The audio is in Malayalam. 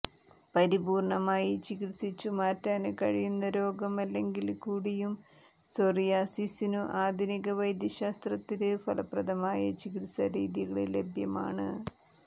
പരിപൂര്ണ്ണമായി ചികിത്സിച്ചു മാറ്റാന് കഴിയുന്ന രോഗം അല്ലെങ്കില് കൂടിയും സോറിയാസിസിനു ആധുനിക വൈദ്യശാസ്ത്രത്തില് ഫലപ്രദമായ ചികിത്സാ രീതികള് ലഭ്യമാണ്